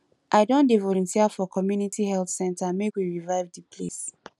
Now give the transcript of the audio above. i don dey volunteer for community health center make we revive di place